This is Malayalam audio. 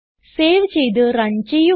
സേവ് ചെയ്ത് റൺ ചെയ്യുക